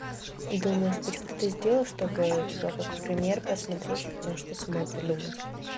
думаешь хоть кто-то сделал чтобы типа как пример посмотреть и потом что-то самой придумать